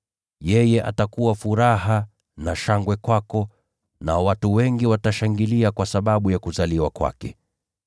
Yeye atakuwa furaha na shangwe kwako, nao watu wengi watashangilia kwa sababu ya kuzaliwa kwake.